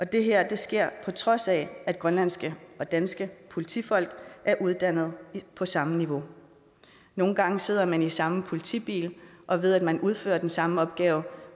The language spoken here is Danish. det her sker på trods af at grønlandske og danske politifolk er uddannet på samme niveau nogle gange sidder man i den samme politibil og ved at man udfører den samme opgave